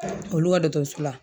Olu ka dɔgɔtɔrɔso la.